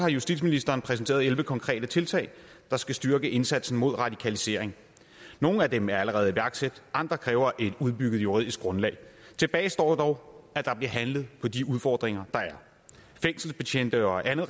justitsministeren præsenteret elleve konkrete tiltag der skal styrke indsatsen mod radikalisering nogle af dem er allerede iværksat andre kræver et udbygget juridisk grundlag tilbage står dog at der bliver handlet på de udfordringer der er fængselsbetjente og andet